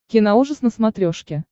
киноужас на смотрешке